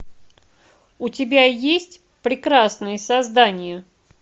у тебя есть прекрасные создания